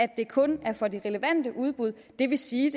at det kun er for de relevante udbud det vil sige